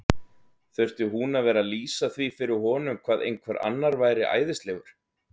Þurfti hún að vera að lýsa því fyrir honum hvað einhver annar væri æðislegur?